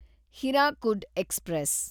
Hirakud express